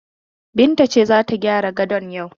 Binta ce za ta gyara gadon yau.